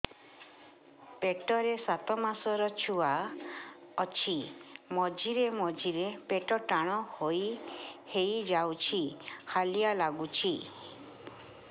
ପେଟ ରେ ସାତମାସର ଛୁଆ ଅଛି ମଝିରେ ମଝିରେ ପେଟ ଟାଣ ହେଇଯାଉଚି ହାଲିଆ ଲାଗୁଚି